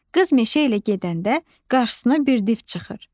Qız meşə ilə gedəndə qarşısına bir div çıxır.